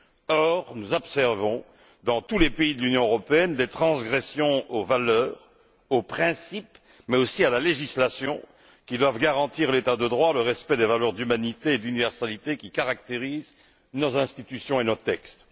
Or, nous observons dans tous les pays de l'Union européenne des transgressions des valeurs, des principes, mais aussi de la législation, laquelle doit garantir l'état de droit, le respect des valeurs d'humanité et d'universalité qui caractérisent nos institutions et nos textes.